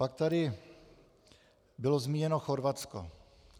Pak tady bylo zmíněno Chorvatsko.